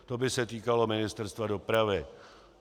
To by se týkalo Ministerstva dopravy.